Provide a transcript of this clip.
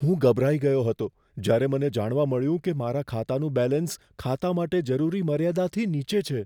હું ગભરાઈ ગયો હતો જ્યારે મને જાણવા મળ્યું કે મારા ખાતાનું બેલેન્સ ખાતા માટે જરૂરી મર્યાદાથી નીચે છે.